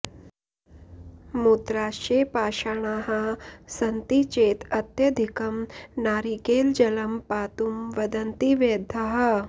मूत्राशये पाषाणाः सन्ति चेत् अत्यधिकं नारिकेलजलं पातुं वदन्ति वैद्याः